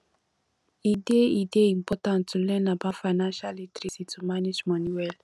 e dey e dey important to learn about financial literacy to manage money well